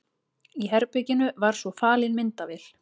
Í herberginu var svo falin myndavél.